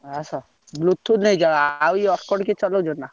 ଆସ Bluetooth ନେଇଯାଅ ଆଉ ଇଏ କିଏ ଚଲଉଛନ୍ତି ନା।